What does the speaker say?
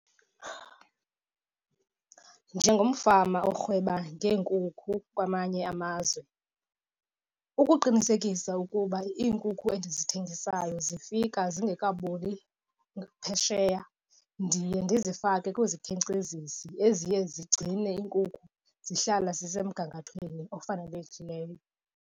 Njengomfama orhweba ngeenkukhu kwamanye amazwe, ukuqinisekisa ukuba iinkukhu endizithengisayo zifika zingekaboli baphesheya ndiye ndizifake kwizikhenkcezisi eziye zigcine iinkukhu zihlala zisemgangathweni ofanelekileyo.